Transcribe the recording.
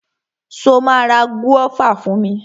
Ṣo ma ra gúọ́và fún mi?